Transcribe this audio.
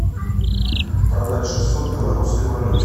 продать шестьсот в белорусской валюте